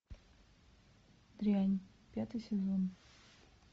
дрянь пятый сезон